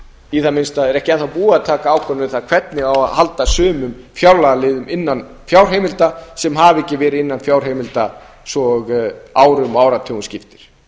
í það minnsta er ekki enn þá búið að taka ákvörðun um það hvernig á að halda sumum fjárlagaliðum innan fjárheimilda sem hafa ekki verið innan fjárheimilda svo árum og áratugum skiptir